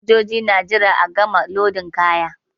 Fasinjoji na jira a gama lodin kaya.